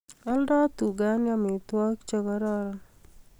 Aldoi tugani amitwogik che kororon